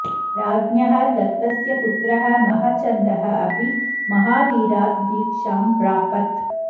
राज्ञः दत्तस्य पुत्रः महचन्दः अपि महावीरात् दीक्षां प्रापत्